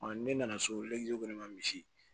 ne nana so ne ma misi